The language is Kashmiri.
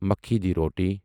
مکِی دِی روٹی